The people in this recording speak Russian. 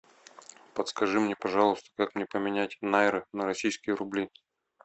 подскажи мне пожалуйста как мне поменять найры на российские рубли